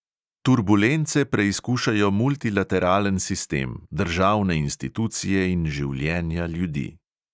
Turbulence preizkušajo multilateralen sistem, državne institucije in življenja ljudi.